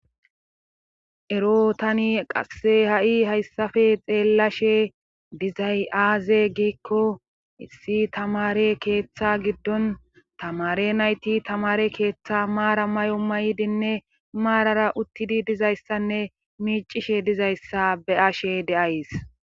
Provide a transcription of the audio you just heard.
ero tani qasse ha'i hayssafe xeellashe dizay aaze giikko issi tamare keeththa giddon tamare nayti tamare keeththa maara mayo maydinne maarara uttidi dizayssanne miicishe dizayssa be'ashe de'ays